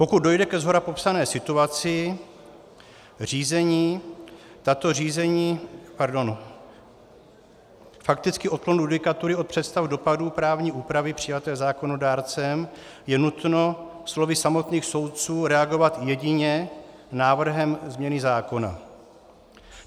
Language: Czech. Pokud dojde ke shora popsané situaci, řízení, tato řízení, pardon, fakticky odklon judikatury od představ dopadů právní úpravy přijaté zákonodárcem je nutno slovy samotných soudců reagovat jedině návrhem změny zákona.